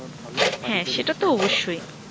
আঃ ভালো হ্যা সেটা তো অবশ্যই